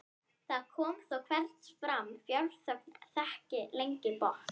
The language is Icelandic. það kom þó hvergi fram: fjárþörfin þekkti engan botn.